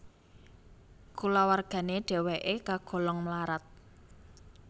Kulawargane dheweke kagolong mlarat